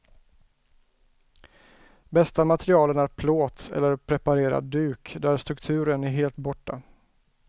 Bästa materialen är plåt eller preparerad duk, där strukturen är helt borta.